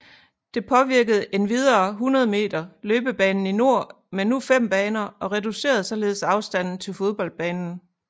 Det påvirkede endvidere 100 meter løbebanen i nord med nu fem baner og reducerede således afstanden til fodboldbanen